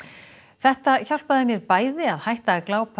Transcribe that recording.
þetta hjálpaði mér bæði að hætta að